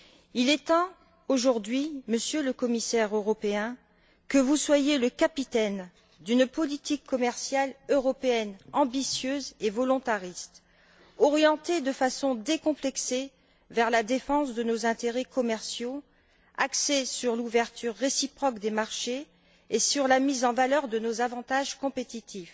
Il est temps aujourd'hui, Monsieur le Commissaire européen, que vous soyez le capitaine d'une politique commerciale européenne ambitieuse et volontariste, orientée de façon décomplexée vers la défense de nos intérêts commerciaux et axée sur l'ouverture réciproque des marchés et sur la mise en valeur de nos avantages compétitifs.